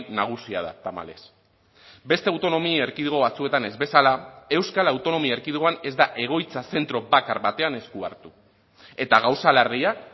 nagusia da tamalez beste autonomia erkidego batzuetan ez bezala euskal autonomia erkidegoan ez da egoitza zentro bakar batean esku hartu eta gauza larriak